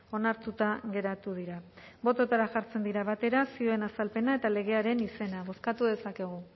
onartuta geratu dira bototara jartzen dira batera zioen azalpena eta legearen izena bozkatuko dezakegu